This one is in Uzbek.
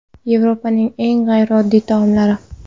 Yevropaning eng g‘ayrioddiy taomlari.